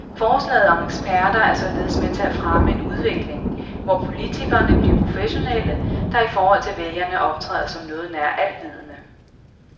Forslaget om eksperter er således med til at fremme en udvikling, hvor politikerne bliver professionelle, der i forhold til vælgerne optræder som noget nær alvidende.